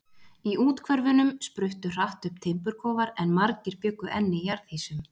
Í úthverfunum spruttu hratt upp timburkofar, en margir bjuggu enn í jarðhýsum.